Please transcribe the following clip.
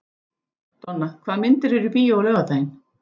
Donna, hvaða myndir eru í bíó á laugardaginn?